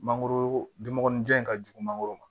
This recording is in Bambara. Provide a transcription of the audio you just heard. Mangoro dun mɔgɔninjan in ka jugu mangoro ma